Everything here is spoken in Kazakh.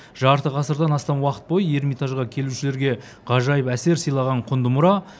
жарты ғасырдан астам уақыт бойы эрмитажға келушілерге ғажайып әсер сыйлаған құнды мұра